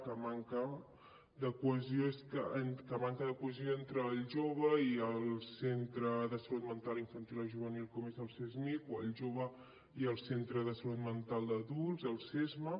que manca cohesió entre el jove i el centre de salut mental infantil o juvenil com és el csmij o el jove i el centre de salut mental d’adults el csma